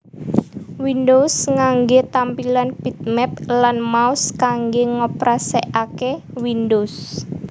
Windows nganggé tampilan bitmap lan mouse kanggé ngoperasikaké Windows